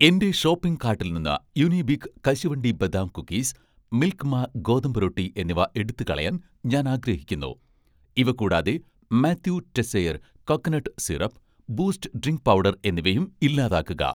എന്‍റെ ഷോപ്പിംഗ് കാട്ടിൽ നിന്ന് 'യുനിബിക്' കശുവണ്ടി ബദാം കുക്കീസ്, 'മിൽക്ക് മാ' ഗോതമ്പ് റൊട്ടി എന്നിവ എടുത്തു കളയാൻ ഞാൻ ആഗ്രഹിക്കുന്നു. ഇവ കൂടാതെ, 'Mathieu Teisseire' coconut syrup, 'Boost' drink powder എന്നിവയും ഇല്ലാതാക്കുക